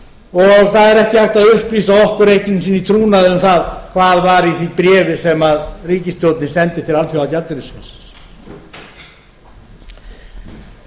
og það er ekki hægt að upplýsa okkur einu sinni í trúnaði um það hvað var í því bréfi sem ríkisstjórnin sendi til alþjóðagjaldeyrissjóðsins við lögðum